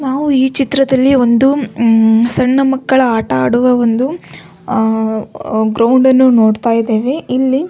ನಾವು ಈ ಚಿತ್ರದಲ್ಲಿ ಒಂದು ಉಹ್ ಸಣ್ಣ ಮಕ್ಕಳ ಆಟ ಆಡುವ ಒಂದು ಅಹ್ ಗ್ರೌಂಡ್ ಅನ್ನು ನೋಡತ್ತಾ ಇದ್ದೇವೆ ಇಲ್ಲಿ.